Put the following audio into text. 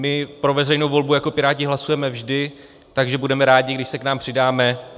My pro veřejnou volbu jako Piráti hlasujeme vždy, takže budeme rádi, když se k nám přidáte.